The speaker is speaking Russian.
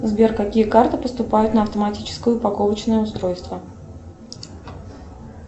сбер какие карты поступают на автоматическое упаковочное устройство